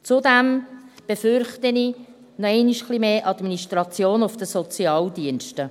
Zudem befürchte ich noch einmal ein wenig mehr Administration auf den Sozialdiensten.